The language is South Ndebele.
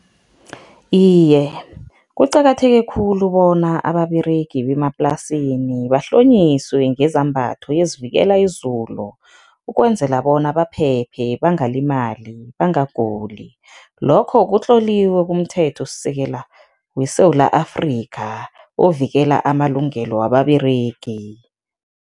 Iye, kuqakatheke khulu bona ababeregi bemaplasini bahlonyiswe ngezambatho ezivikela izulu, ukwenzela bona baphephe, bangalimali, bangaguli, lokho kutloliwe kumthethosisekela weSewula Afrika ovikela amalungelo wababeregi.